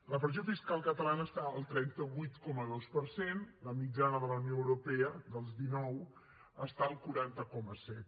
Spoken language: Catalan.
la pressió fiscal catalana està al trenta vuit coma dos per cent la mitjana de la unió europea dels dinou està al quaranta coma set